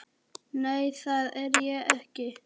Nei, það er ég ekki.